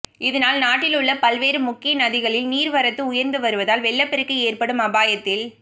இதனால் நாட்டில் உள்ள பல்வேறு முக்கிய நதிகளில் நீர்வரத்து உயர்ந்து வருவதால் வெள்ளப்பெருக்கு ஏற்படும் அபாயத்தில்